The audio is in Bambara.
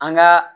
An ka